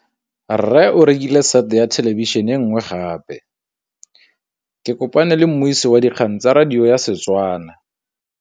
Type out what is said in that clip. Rre o rekile sete ya thêlêbišênê e nngwe gape. Ke kopane mmuisi w dikgang tsa radio tsa Setswana.